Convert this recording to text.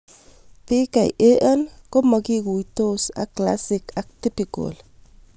PKAN ko makituistos ak classic ak typical